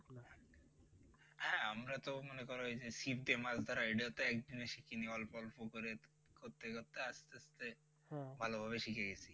হ্যাঁ আমরা তো মনে করো ওই যে ছিপ দিয়ে মাছ ধরা এটাও তো একদিনে শিখিনি, অল্প অল্প করে করতে করতে আস্তে আস্তে ভাল ভাবে শিখে গেছি